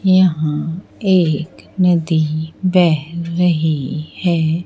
यहां एक नदी बह रही है।